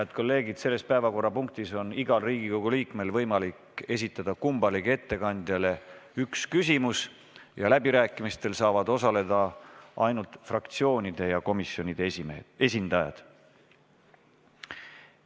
Head kolleegid, selles päevakorrapunktis on igal Riigikogu liikmel võimalik esitada kummalegi ettekandjale üks küsimus ja läbirääkimistel saavad osaleda ainult fraktsioonide ja komisjonide esindajad.